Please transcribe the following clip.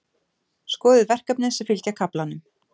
Skoðið verkefnin sem fylgja kaflanum.